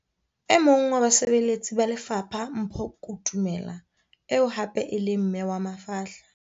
E mong wa basebeletsi ba lefapha Mpho Kutumela eo hape e leng mme wa mafahla